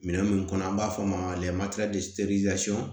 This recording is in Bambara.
Minɛn mun kɔnɔ an b'a fɔ o ma